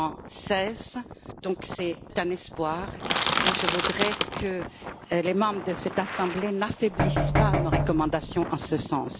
116. C'est donc un espoir et je voudrais que les membres de cette assemblée n'affaiblissent pas nos recommandations en ce sens.